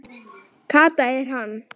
Kata er hann!